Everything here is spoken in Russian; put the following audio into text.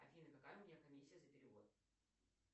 афина какая у меня комиссия за перевод